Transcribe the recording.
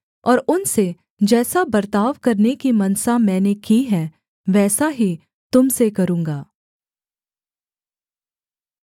और उनसे जैसा बर्ताव करने की मनसा मैंने की है वैसा ही तुम से करूँगा